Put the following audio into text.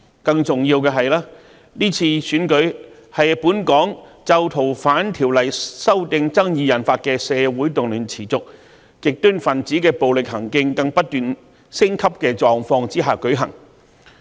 更加重要的是，今次選舉是在本港因《逃犯條例》修訂爭議引發的社會動亂持續，極端分子暴力行徑不斷升級的狀況下舉行。